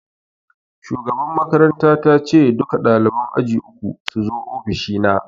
Shugaban makaranta ta ce 'Duka ɗaliban aji uku suzo ofishi na'!